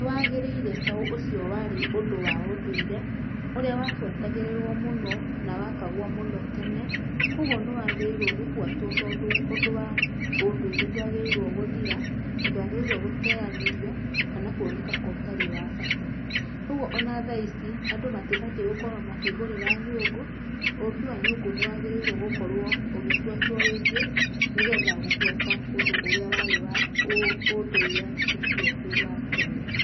Nĩ wagĩrĩire tondũ ũcio warĩ ũndũ wa ũndũire ũrĩa wabuatagĩrĩrwo mũno wekagwo mũno tene, kwoguo nĩwagĩrĩirwo gũbwatwo tondũ wa ũndũ wa ũndũire ndwagĩrĩire gũthira na ndwagĩrĩirwo gũteanĩrio kana kuoneka ta ũtarĩ wa bata. ũguo ona thaa ici ,andũ matibatie gũkorwo makĩgũrĩra nyũngũ, ũũmbi wa nyũngũ nĩũbatie ũgĩbuatwo rĩngĩ nĩgetha gũbuata ũndũ ũrĩa warĩ wa ũndũire ũcio wa tene.